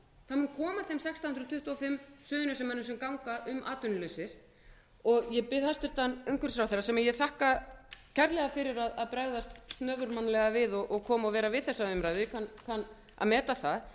tuttugu og fimm suðurnesjamönnum sem ganga um atvinnulausir ég bið hæstvirtur umhverfisráðherra sem ég þakka kærlega fyrir að bregðast snöfurmannlega við og koma og vera við þessa umræðu ég kann að meta það